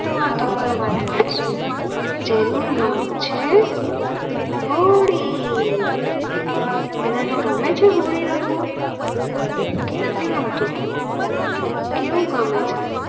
વાત ઉપર વાત કરી શું જેનું નામ છે હોલડી તમ ને બધા ને ગમે છે હોળી રમવું કે નથી ઘમતું કેવું ગમે છે